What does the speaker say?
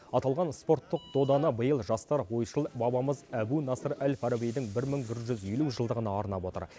аталған спорттық доданы биыл жастар ойшыл бабамыз әбу насыр әл фарабидің бір мың бір жүз елу жылдығына арнап отыр